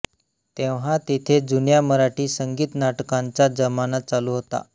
तेव्हा तिथे जुन्या मराठी संगीत नाटकांचा जमाना चालू होता